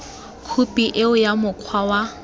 khophi eo ya mokgwa wa